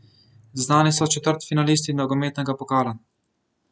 Znani so četrtfinalisti nogometnega pokala.